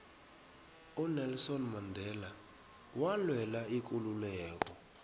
unelson mandela walwela ikululeko